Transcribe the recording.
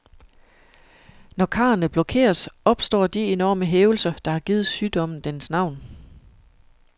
Når karrene blokeres, opstår de enorme hævelser, der har givet sygdommen dens navn.